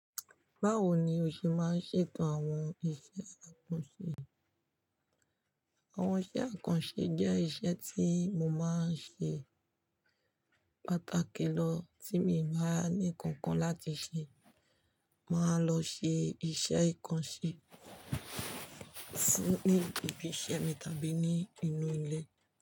Báwo ni o ṣe máa ń ṣètò àwọn iṣẹ́ àkànṣe? Àwọn iṣẹ́ àkànṣe jẹ́ iṣẹ́ tí mo máa ń ṣe pàtàkì lọ tí mi bá ní nnkan kan láti ṣe. Máa lọ ṣe iṣẹ́ ìkànṣe sí ní ibi iṣẹ́ mi tàbí ní inú ilé.